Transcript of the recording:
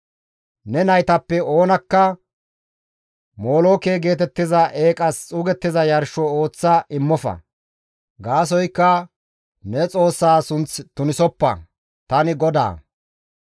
«Ne naytappe oonakka molooke geetettiza eeqas xuugettiza yarsho ooththa immofa; gaasoykka ne Xoossaa sunth tunisoppa; tani GODAA.